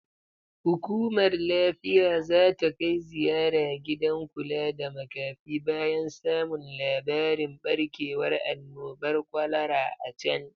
Hukumar lafiya zata kai ziyara gidan kula da makafi bayan samun labarin barkewar annobar kwalara a can